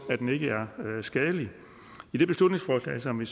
at skadelig i det beslutningsforslag som vi